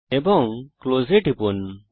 এবং ক্লোজ টিপুন